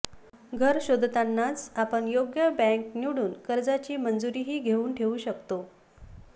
घर शोधतानाच आपण योग्य बँक निवडून कर्जाची मंजुरीही घेऊन ठेवू शकतो